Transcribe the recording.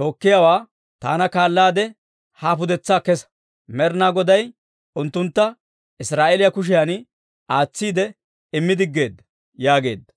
tookkiyaawaa, «Taana kaalaade ha pudetsaa kesa. Med'inaa Goday unttuntta Israa'eeliyaa kushiyan aatsiide immi diggeedda» yaageedda.